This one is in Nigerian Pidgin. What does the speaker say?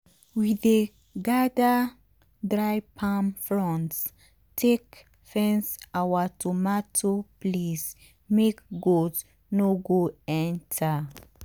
we dey gather dry palm fronds take fence our tomato place make goat no go enter.